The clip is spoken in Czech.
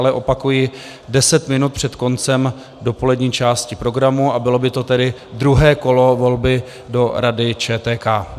Ale opakuji deset minut před koncem dopolední části programu a bylo by to tedy druhé kolo volby do Rady ČTK.